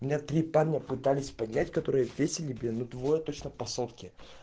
у меня три парня пытались поднять которые весили блин ну вот точно по сотке